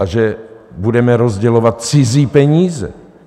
A že budeme rozdělovat cizí peníze.